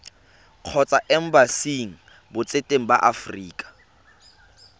kgotsa embasing botseteng ba aforika